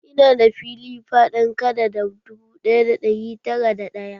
Ina da fili faɗin kadada dubu ɗaya da ɗari tara da ɗaya